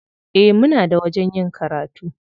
Eh, muna da wajen yin karatu.